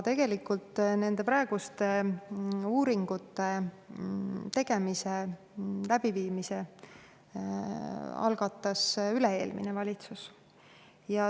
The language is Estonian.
Nende praeguste uuringute tegemise algatas tegelikult üle‑eelmine valitsus.